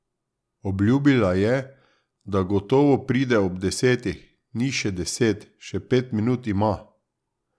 Obljubila je, da gotovo pride ob desetih, ni še deset, še pet minut ima.